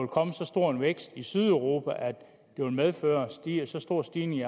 komme så stor en vækst i sydeuropa at det vil medføre en så stor stigning i